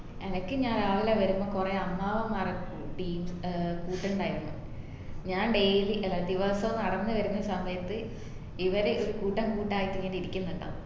എനക്ക് ഞാൻ രാവിലെ വരുമ്പോ കൊറേ അമ്മാവന്മാര് team ഏർ കൂട്ടുണ്ടായിരുന്നു. ഞാൻ ഡായ് ദിവസും നടന്നു വരുന്ന സമയത് ഇവര് കൂട്ടം കൂട്ടായിട്ട് ഇങ്ങന ഇരിക്കുന്നുണ്ടാവും